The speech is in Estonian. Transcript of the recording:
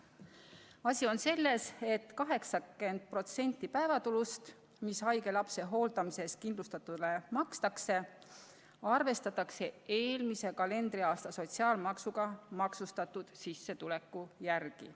Asi on selles, et 80% päevatulust, mis haige lapse hooldamise eest kindlustatule makstakse, arvestatakse eelmise kalendriaasta sotsiaalmaksuga maksustatud sissetuleku järgi.